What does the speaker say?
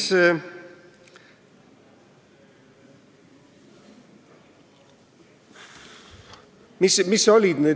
Kolm minutit lisaaega.